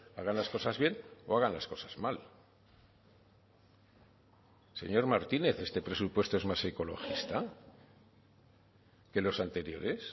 hagan las cosas bien o hagan las cosas mal señor martínez este presupuesto es más ecologista que los anteriores